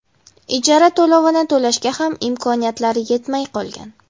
Ijara to‘lovini to‘lashga ham imkoniyatlari yetmay qolgan.